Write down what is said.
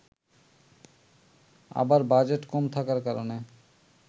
আবার বাজেট কম থাকার কারণে